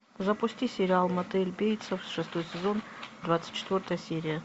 запусти сериал мотель бейтсов шестой сезон двадцать четвертая серия